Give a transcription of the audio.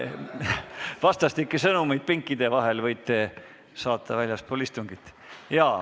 Vastastikku võite pinkide vahel sõnumeid saata väljaspool istungit.